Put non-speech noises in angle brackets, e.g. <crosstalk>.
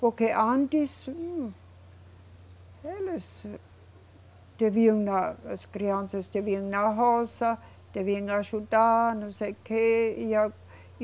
Porque antes, eles deviam na, as crianças deviam ir na roça, deviam ajudar, não sei o quê. e <unintelligible> e